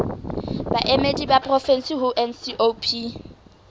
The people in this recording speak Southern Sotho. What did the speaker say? baemedi ba porofensi ho ncop